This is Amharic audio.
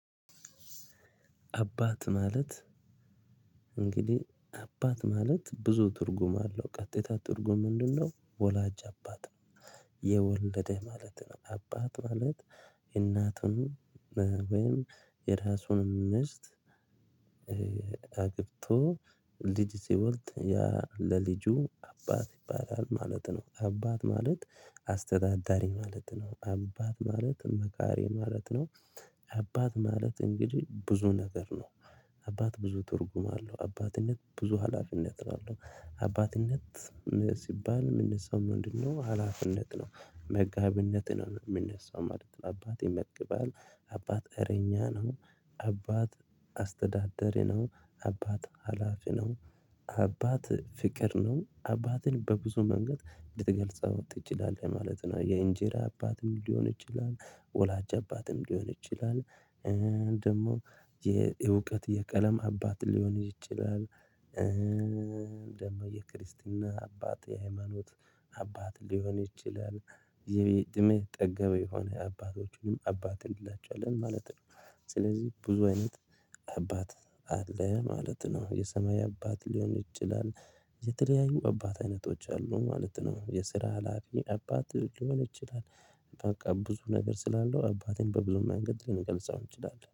አባት ማለት እንግዲህ አባት ማለት ብዙ ትርጉም አለው ቀጥታ ትርጉም ምንድነው? ወላጅ አባት ነው የወለደ ማለት ነው። አባት ማለት እናቱን ወይም የራሱን ምስት አግብቶ ልጅ ሲወልድ ለልጁ አባት ይባላል ማለት ነው። አባት ማለት አስተዳዳሪ ማለት ነው። አባት ማለት መካሪ ማለት ነው። አባት ማለት እንግዲህ ብዙ ነገር ነው። አባት ብዙ ትርጉም አለው አባትነት ብዙ ሀላፊነት ነው አለው አባትነት ሲባል የሚነሳው ምንድነው? ሀላፊነት ነው መጋቢነት ነው የሚነሳው ማለት ነው። አባት ይመግባል አባት እረኛ ነው አባት አስተዳዳሪ ነው አባት ሀላፊ ነው አባት ፍቅር ነው አባትን በብዙ መንገድ ልትገልጸው ትችላለህ ማለት ነው። የእንጀራ አባትም ሊሆን ይችላል ወላጅ አባትም ሊሆን ይችላል። ደግሞ የእውቀት የቀለም አባት ሊሆን ይችላል። ደግሞ የክርስትና አባት የሃይማኖት አባት ሊሆን ይችላል። የትምህርት ጠገበ የሆነ አባቶችንም አባት እንላቸዋለን ማለት ነው። ስለዚህ ብዙ አይነት አባት አለ ማለት ነው። የሰማይ አባት ሊሆን ይችላል። የተለያዩ አባት አይነቶች አሉ ማለት ነው። የስራ ሀላፊ አባት ሊሆን ይችላል። በቃ ብዙ ነገር ስላለው አባትን በብዙ መንገድ ልንገልጸው እንችላለን